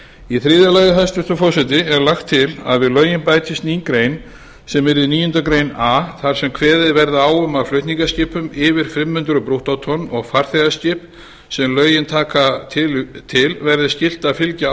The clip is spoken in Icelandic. í þriðja lagi hæstvirtur forseti er lagt til að við lögin bætist ný grein sem verði níundu grein a þar sem kveðið verði á um að flutningaskipum yfir fimm hundruð brúttótonn og farþegaskip sem lögin taka til verði skylt að fylgja